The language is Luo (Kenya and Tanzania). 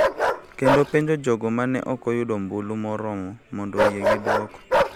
kendo penjo jogo ma ne ok oyudo ombulu moromo mondo oyie gi duoko.